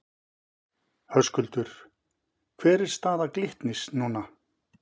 Höskuldur: Hver er staða Glitnis núna?